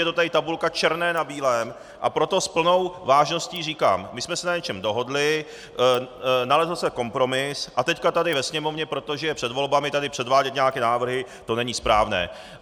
Je to tady tabulka černé na bílém, a proto s plnou vážností říkám: My jsme se na něčem dohodli, nalezl se kompromis, a teď tady ve Sněmovně, protože je před volbami, tady předvádět nějaké návrhy, to není správné.